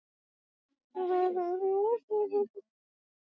Grænukorn eru, líkt og hvatberar, gerð úr tvöföldum himnum.